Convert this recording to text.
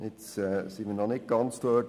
Jetzt sind wir noch nicht ganz dort.